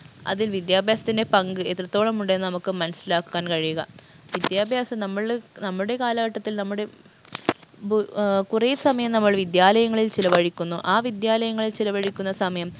അതിൽ വിദ്യാഭ്യാസത്തിൻറെ പങ്ക് എത്രത്തോളം ഉണ്ടെന്ന് നമുക്ക് മനസ്സിലാക്കാൻ കഴിയുക വിദ്യാഭ്യാസം നമ്മള് നമ്മുടെ കാലഘട്ടത്തിൽ നമ്മുടെ ബ് ഏർ കുറേ സമയം നമ്മൾ വിദ്യാലയങ്ങളിൽ ചിലവഴിക്കുന്നു ആ വിദ്യാലയങ്ങളിൽ ചിലവഴിക്കുന്ന സമയം